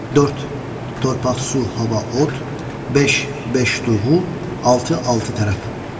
Dörd - torpaq, su, hava, od, beş - beş duğu, altı - altı tərəf.